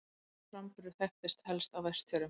Sá framburður þekktist helst á Vestfjörðum.